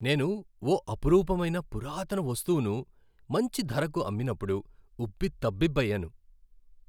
నేను ఓ అపురూపమైన పురాతన వస్తువును మంచి ధరకు అమ్మినప్పుడు ఉబ్బి తబ్బిబ్బయ్యాను.